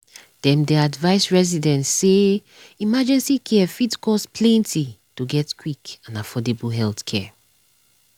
dem dey advise residents say emergency care fit cost plenty to get quick and affordable healthcare.